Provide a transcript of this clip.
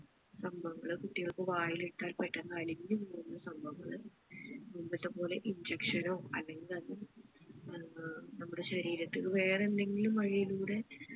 സംഭവങ്ങൾ കുട്ടികൾക്ക് വായിലിട്ടാൽ പെട്ടന്ന് അലിഞ്ഞു പോകുന്ന സംഭവങ്ങൾ മുമ്പത്തെപ്പോലെ injection നോ അല്ലെങ്കിൽ അത് ഏർ നമ്മുടെ ശരീരത്തില് വേറെ എന്തെങ്കിലും വഴിയിലൂടെ